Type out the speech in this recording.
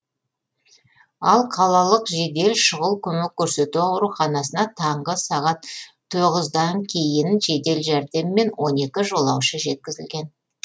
ал қалалық жедел шұғыл көмек көрсету ауруханасына таңғы сағат тоғыздан кейін жедел жәрдеммен он екі жолаушы жеткізілген